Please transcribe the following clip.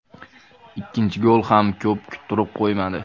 Ikkinchi gol ham ko‘p kuttirib qo‘ymadi.